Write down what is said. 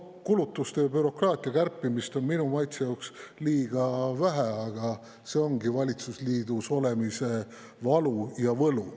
Kulutuste ja bürokraatia kärpimist on minu maitse jaoks liiga vähe, aga see ongi valitsusliidus olemise valu ja võlu.